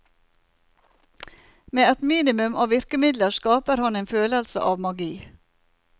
Med et minimum av virkemidler skaper han en følelse av magi.